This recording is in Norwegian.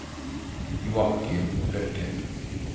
Joachim Løkken